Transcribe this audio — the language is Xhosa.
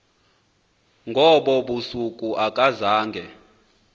ngobo busuku akazange